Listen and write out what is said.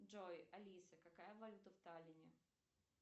джой алиса какая валюта в таллине